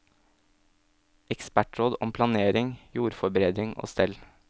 Ekspertråd om planering, jordforbedring og stell.